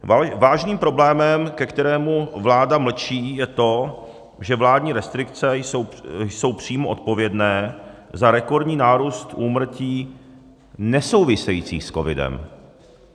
Vážným problémem, ke kterému vláda mlčí, je to, že vládní restrikce jsou přímo odpovědné za rekordní nárůst úmrtí nesouvisejících s covidem.